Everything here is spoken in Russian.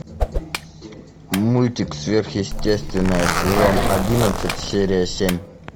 мультик сверхъестественное сезон одиннадцать серия семь